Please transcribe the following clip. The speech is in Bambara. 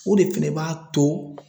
O de fɛnɛ b'a to